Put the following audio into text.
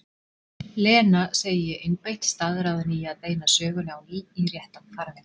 Lena, segi ég einbeitt, staðráðin í að beina sögunni á ný í réttan farveg.